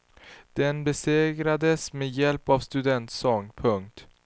Den besegrades med hjälp av studentsång. punkt